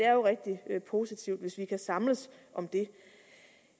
er jo rigtig positivt hvis vi kan samles om det